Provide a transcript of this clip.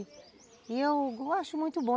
E eu acho muito bom.